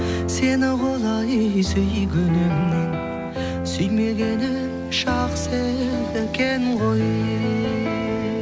сені құлай сүйгенімнен сүймегенім жақсы екен ғой